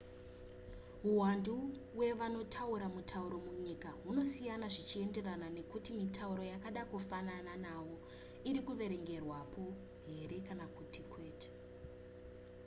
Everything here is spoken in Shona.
huwandu hwevanotaura mutauro munyika hunosiyana zvichienderana nekuti mitauro yakada kufanana nawo iri kuverengerwapo here kana kuti kwete